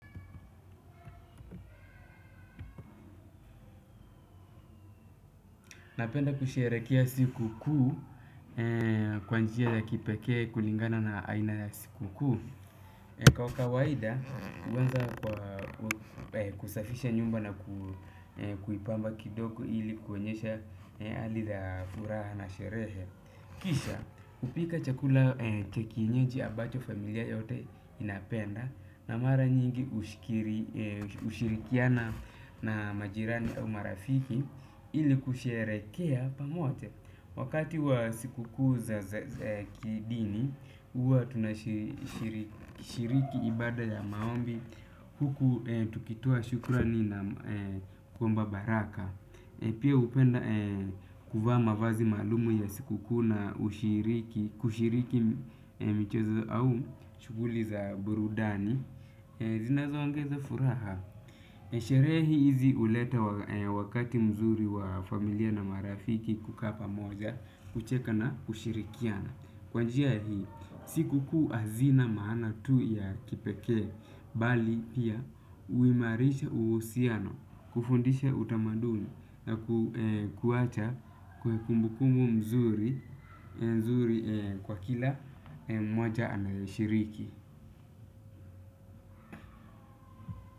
Napenda kusherehekea siku kuu kwa njia ya kipeke kulingana na aina ya siku kuu. Kwa kawaida huanza kwa kusafisha nyumba na kuipamba kidoku ili kuonyesha hali la furaha na sherehe. Kisha hupika chakula cha kienyeji ambacho familia yote inapenda na mara nyingi ushirikiana na majirani au marafiki ili kusherehekea pamoja wakati wa siku kuu za kidini huwa tunashiriki ibada ya maombi huku tukitoa shukrani na kuomba baraka pia hupenda kuvaa mavazi maalum ya siku kuu na ushiriki kushiriki michezo au shughuli za burudani zinazoongeza furaha. Sherehe hizi huleta wakati mzuri wa familia na marafiki kukaa pamoja, kucheka na kushirikiana. Kwa njia hii, siku kuu hazina maana tu ya kipekee, bali pia huimarisha uhusiano kufundisha utamaduni na kuacha kumbukumbu mzuri kwa kila moja anayoshiriki.